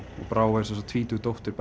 og Brá er tvítug dóttir